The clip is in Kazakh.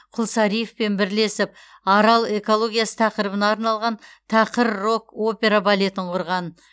құлсариевпен бірлесіп арал экологиясы тақырыбына арналған тақыр рок операбалетін құрған